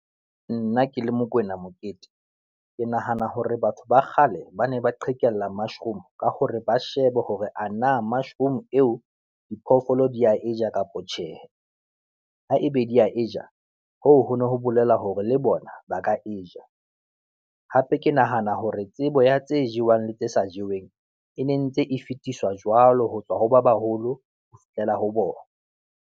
Nna ke le Mokoena Mokete, ke nahana hore batho ba kgale ba ne ba qhekella mushroom ka hore ba shebe hore a na mushroom eo diphoofolo di a e ja kapa tjhehe, haebe di a e ja hoo ho no ho bolela hore le bona ba ka e ja. Hape ke nahana hore tsebo ya tse jewang le tse sa jeweng e ne ntse e fetiswa jwalo ho tswa ho ba baholo ho fihlella ho bona.